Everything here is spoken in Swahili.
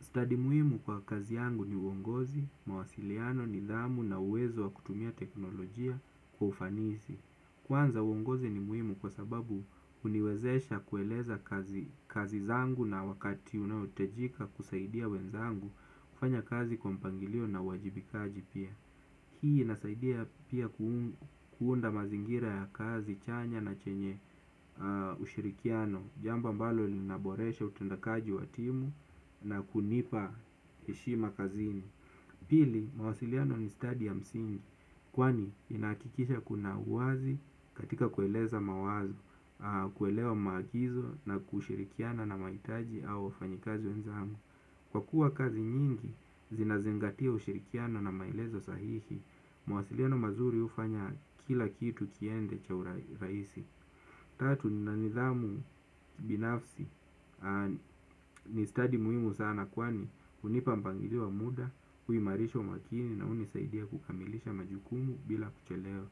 Stadi muhimu kwa kazi yangu ni uongozi, mawasiliano, nidhamu na uwezo wa kutumia teknolojia kwa ufanisi. Kwanza uongozi ni muhimu kwa sababu huniwezesha kueleza kazi zangu na wakati unaohitajika kusaidia wenzangu kufanya kazi kwa mpangilio na uwajibikaji pia. Hii inasaidia pia kuunda mazingira ya kazi chanya na chenye ushirikiano. Jamba ambalo linaboresha utendakaji wa timu na kunipa heshima kazini. Pili, mawasiliano ni stadi ya msingi. Kwani, inahakikisha kuna uwazi katika kueleza mawazo. Kuelewa maagizo na kushirikiana na mahitaji au wafanyikazi wenzangu. Kwa kuwa kazi nyingi, zinazingatia ushirikiano na maelezo sahihi. Mawasiliano mazuri hufanya kila kitu kiende cha urahisi. Tatu nina nidhamu binafsi ni stadi muhimu sana kwani hunipa mpangilio wa muda, huimarisha umakini na hunisaidia kukamilisha majukumu bila kuchelewa.